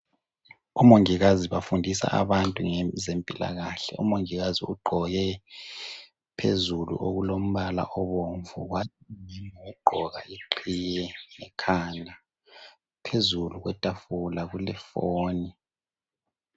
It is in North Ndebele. Omongikazi bafundisa abantu ngezempilakahle . Umongikazi ugqoke phezulu okulombala obomvu ,wagqoka leqhiye ekhanda . Phezulu kwethafula kulefoni.